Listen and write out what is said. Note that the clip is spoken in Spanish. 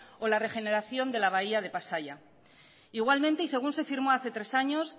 o la regeneración de la bahía de pasaia igualmente y según se firmó hace tres años